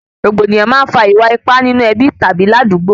Rògbòdìyàn máa ń fà iwa-ipa nínú ẹbí tàbí ládugbó